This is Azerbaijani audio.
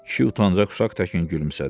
Kişi utanacaq uşaq təkin gülümsədi.